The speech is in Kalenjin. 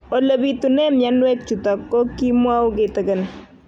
Ole pitune mionwek chutok ko kimwau kitig'�n